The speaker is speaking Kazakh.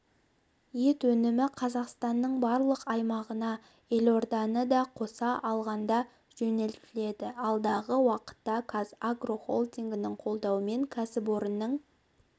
ет өнімі қазақстанның барлық аймақтарына елорданы да қоса алғандажөнелтіледі алдағы уақытта қазагро холдингінің қолдауымен кәсіпорынның